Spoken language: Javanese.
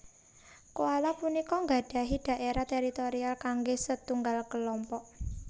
Koala punika nggadhahi dhaérah teritorial kanggé setunggal kalompok